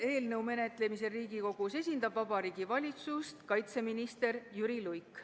Selle menetlemisel Riigikogus esindab Vabariigi Valitsust kaitseminister Jüri Luik.